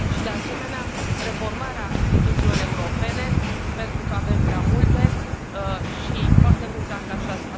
Și, de asemenea, reformarea instituțiilor europene, pentru că avem prea multe și foarte mulți angajați.